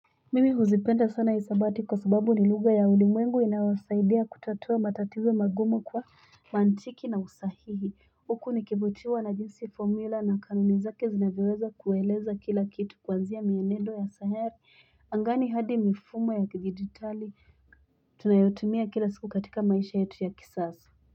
Mimi huzi penda sana isabati kusubabu niluga ya ulimuengu ina wasaidia kutatua matatizo magumo kwa mantiki na usahihi. Uku nikebutiwa naginsi formula na kanunizake zinaweweza kuweleza kila kitu kwa zia mienedo ya sahari angani hadi mifumo ya kigititali, tunayutimia kila siku katika maishayetu ya kisasa.